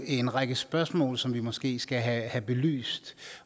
en række spørgsmål som vi måske skal have belyst